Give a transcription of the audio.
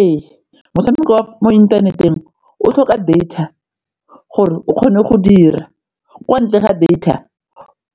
Ee, motshameko wa mo inthaneteng o tlhoka data gore o kgone go dira o ka ntle ga data